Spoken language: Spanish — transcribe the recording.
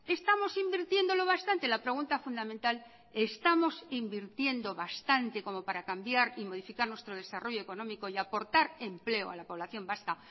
estamos invirtiendo lo bastante la pregunta fundamental estamos invirtiendo bastante como para cambiar y modificar nuestro desarrollo económico y aportar empleo a la población vasca